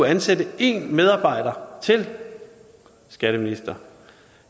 ansætte en medarbejder til skatteminister